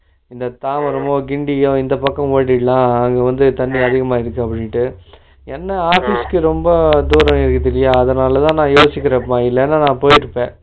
இந்த தாம்பரமோ கின்டியோ இந்தபக்கம் ஓடிடலாம் அங்கேவந்து தண்ணி அதிகமா இருக்குதுன்ட்டு என்ன office க்கு ரொம்ப இருக்குதுல்லையா அதனாலத நா அது யோசிக்கிறேன் இப்போ இல்லைன்னா நா போய்ட்டுருப்பேன்